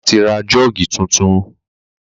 Bàbá ti ra Jọ́ọ̀gì tuntun.